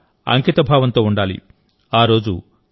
వారి పట్ల అంకితభావంతో ఉండాలి